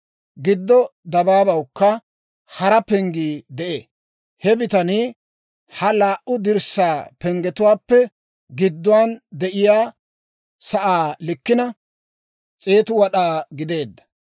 Giddo dabaabawukka hara penggii de'ee. He bitanii ha laa"u dirssaa penggetuwaappe gidduwaan de'iyaa sa'aa likkina 100 wad'aa gideedda.